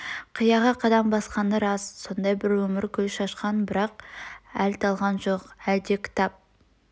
қияға қадам басқаны рас сондай бір өмір гүл шашқан бірақ әл талған жоқ әл де ктап